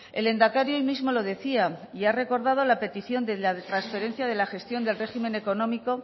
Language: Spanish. el lehendakari hoy mismo lo decía y ha recordado la petición de la transferencia de la gestión del régimen económico